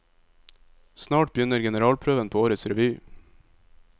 Snart begynner generalprøven på årets revy.